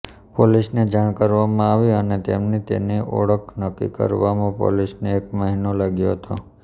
પોલીસને જાણ કરવામાં આવી અને તેમની તેની ઓળખ નક્કી કરવામાં પોલીસને એક મહિનો લાગ્યો હતો